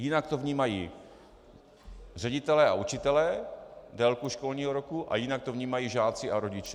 Jinak to vnímají ředitelé a učitelé, délku školního roku, a jinak to vnímají žáci a rodiče.